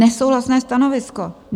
Nesouhlasné stanovisko.